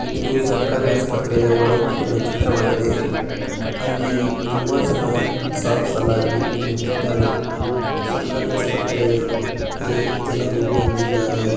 ಇದು ಸರ್ಕಾರಿ ಆಸ್ಪತ್ರೆಯ ಒಳನೋಟಿನ ಚಿತ್ರವಾಗಿದೆ. ಅಲ್ಲಿ ತುಂಬ ಜನ ಸಾಲು ಸಾಲಾಗಿ ನಿಂತಿದಾರೆ. ಸರ್ಕಾರಿ ಆಸ್ಪತ್ರೆ ಗೆ ಜನರು ಬಂದಿದಾರೆ.